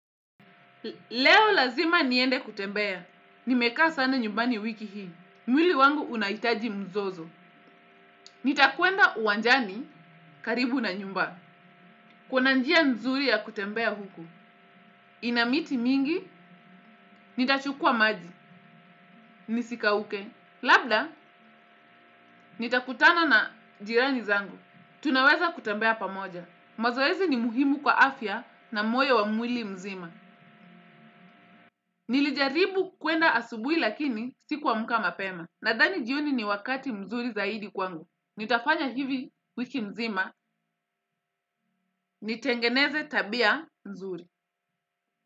Leo lazima niende kutembea, nimekaa sana nyumbani wiki hii, mwili wangu unahitaji mzozo, nitakwenda uwanjani karibu na nyumba. Kuna njia nzuri ya kutembea huku, ina miti mingi, nitachukua maji, nisikauke, labda nitakutana na jirani zangu tunaweza kutembea pamoja, mazoezi ni muhimu kwa afya na moyo wa mwili mzima. Nilijaribu kwenda asubuhi lakini sikuamka mapema. Nadhani jioni ni wakati mzuri zaidi kwangu. Nitafanya hivi wiki nzima. Nitengeneze tabia nzuri.